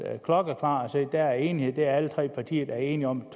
klokkeklart sagt at der er enighed at det er alle tre partier der er enige om